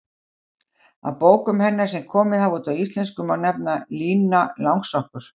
Af bókum hennar sem komið hafa út á íslensku má nefna: Lína Langsokkur